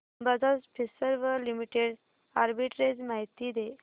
Bajaj Finserv limited arbitrage माहिती दे